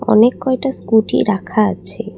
অনেক কয়টা স্কুটি রাখা আছে।